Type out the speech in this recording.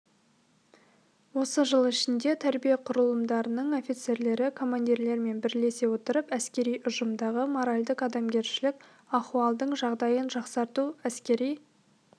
осы жыл ішінде тәрбие құрылымдарының офицерлері командирлермен бірлесе отырып әскери ұжымдағы моральдық-адамгершілік ахуалдың жағдайын жақсарту әскери